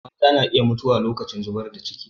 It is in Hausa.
Mata na iya mutuwa lokacin zubar da ciki.